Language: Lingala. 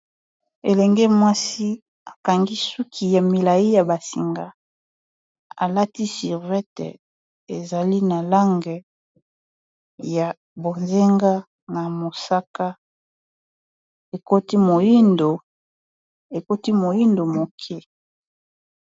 elenge mwasi akangi suki ya milai ya basinga alati survete ezali na lange ya bozenga na mosaka ekoti moyindo moke